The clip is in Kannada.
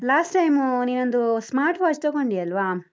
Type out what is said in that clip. Last time ನೀನೊಂದು smart watch ತಗೊಂಡಿ ಅಲ್ವಾ?